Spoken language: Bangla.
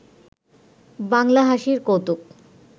বাংলা হাসির কৌতুক